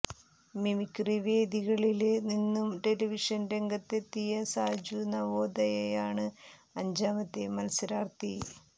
mimicry വേദികളില് നിന്നും television രംഗത്തെത്തിയ സാജു നവോദയയാണ് അഞ്ചാമത്തെ മത്സരാർത്ഥി